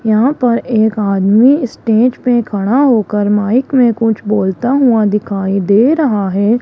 यहां पर एक आदमी स्टेज पे खड़ा होकर माइक में कुछ बोलता हुआ दिखाई दे रहा है।